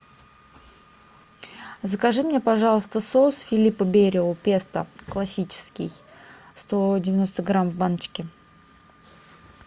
закажи мне пожалуйста соус филиппа берио песто классический сто девяносто грамм в баночке